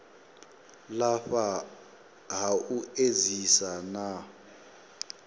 lafha ha u edzisa na